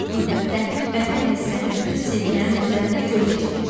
Qürbətdə vətən həsrəti bütün sevgilərin üzərinə kölgə çəkir.